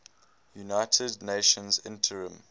united nations interim